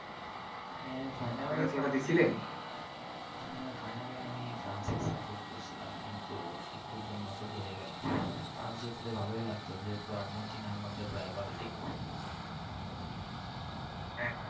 হ্যাঁ final হ্যাঁ final এ আমি France কে support করছিলাম, কিন্তু একটুর জন্য তো হেরে গেলাম। France জিতলে ভালোই লাগতো যেহেতু Argentina আমাদের rival team হ্যাঁ হ্যাঁ